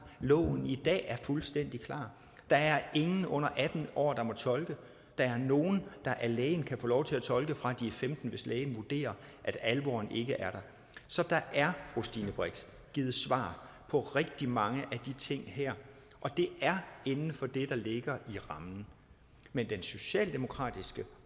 loven i dag er fuldstændig klar der er ingen under atten år der må tolke der er nogle der af lægen kan få lov til at tolke fra de er femten år hvis lægen vurderer at alvoren ikke er der så der er fru stine brix givet svar på rigtig mange af de ting her og det er inden for det der ligger i rammen men den socialdemokratiske